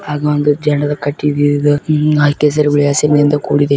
ಹಾಗು ಒಂದು ಜಂಡದ ಕಟ್ಟಿಗಿಯಿದ್ದು ಮ್- ಕೇಸರಿ ಬಿಳಿ ಹಸಿರಿನಿಂದ ಕೂಡಿದೆ